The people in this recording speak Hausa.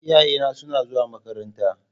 Iyayena suna zuwa makaranta.